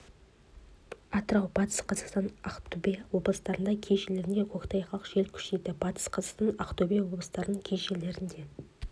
атырау батыс қазақстан ақтөбе облыстарының кей жерлерінде көктайғақ жел күшейеді батыс қазақстан ақтөбе облыстарының кей жерлерінде